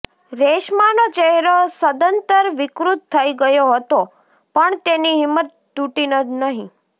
રેશમાનો ચહેરો સદંતર વિકૃત થઈ ગયો હતો પણ તેની હિંમત તુટી નહીં